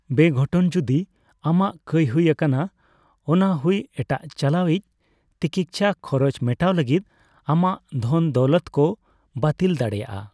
ᱵᱮᱜᱷᱚᱴᱚᱱ ᱡᱩᱫᱤ ᱟᱢᱟᱜ ᱠᱟᱹᱭ ᱦᱩᱭ ᱟᱠᱟᱱᱟ, ᱚᱱᱟ ᱦᱩᱭ ᱮᱴᱟᱜ ᱪᱟᱞᱟᱣᱤᱡ ᱛᱤᱠᱤᱪᱪᱷᱟ ᱠᱷᱚᱨᱚᱪ ᱢᱮᱴᱟᱣ ᱞᱟᱹᱜᱤᱫ ᱟᱢᱟᱜ ᱫᱷᱚᱱ ᱫᱟᱹᱣᱞᱟᱹᱛ ᱠᱚ ᱵᱟᱹᱛᱤᱞ ᱫᱟᱲᱮᱭᱟᱜᱼᱟ ᱾